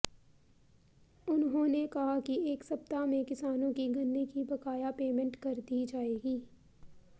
उन्होंने कहा कि एक सप्ताह में किसानों की गन्ने की बकाया पेमेंट कर दी जाएगी